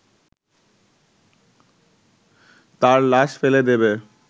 তার লাশ ফেলে দেবে